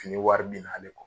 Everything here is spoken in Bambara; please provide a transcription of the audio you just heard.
Fini wari bin n'ale kɔ.